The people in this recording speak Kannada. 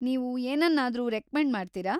ನೀವು ಏನನ್ನಾದ್ರೂ ರೆಕ್ಮೆಂಡ್‌ ಮಾಡ್ತೀರಾ?